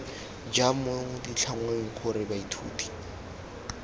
jang mo ditlhangweng gore baithuti